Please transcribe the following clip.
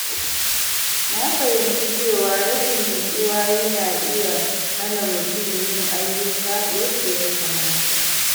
Na fahimci cewa rashin nutsuwa yana iya hana mutum yin ayyuka yadda ya kamata.